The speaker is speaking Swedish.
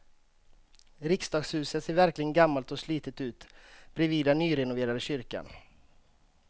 Riksdagshuset ser verkligen gammalt och slitet ut bredvid den nyrenoverade kyrkan.